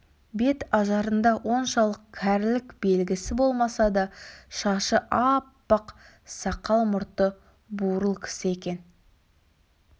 бет ажарында оншалық кәрілік белгісі болмаса да шашы аппақ сақал-мұрты бурыл кісі екен